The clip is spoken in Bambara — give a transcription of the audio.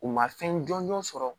U ma fɛn jɔnjɔn sɔrɔ